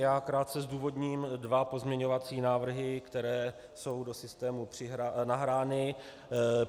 Já krátce zdůvodním dva pozměňovací návrhy, které jsou do systému nahrány.